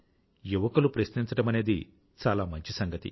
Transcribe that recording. యువకులు ప్రశ్నించడమనేది చాలా మంచి సంగతి